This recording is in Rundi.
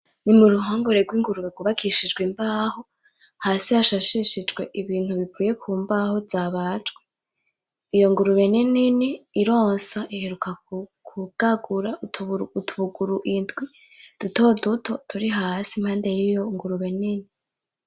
Nimuruhongore rwingurube rwubakishijwe imbaho , Hasi hasasishijwe Ibintu bivuye mumbaho zabajwe ,iyo ngurube ninini ironsa iheruka kubwagura utubuguru indwi dutoduto turi Hasi impande yiyo ngurube nyene .